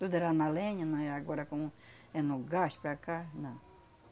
Tudo era na lenha, na é agora como é no gás para cá, não.